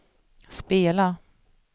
spela